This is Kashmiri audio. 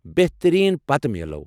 بہترین ، پتہٕ میلو۔